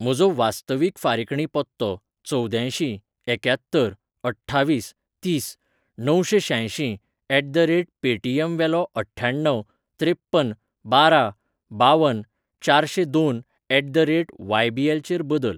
म्हजो वास्तवीक फारिकणी पत्तो चवद्यांयशीं एक्यात्तर अठ्ठावीस तीस णवशेंशांयशीं ऍट द रेट पेटिम वेलो अठ्ठ्याण्णव त्रेप्पन बारा बावन चारशें दोन at the rate Y B L चेर बदल.